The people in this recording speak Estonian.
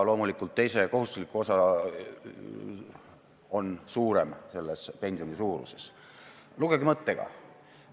Lugege mõttega.